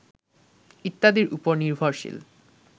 ইত্যাদির উপর নির্ভরশীল